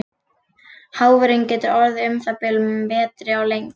Háfurinn getur orðið um það bil metri á lengd.